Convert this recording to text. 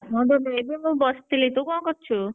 ହଁ ବା ମୁଁ ବସିଥିଲି ତୁ କଣ କରୁଛୁ?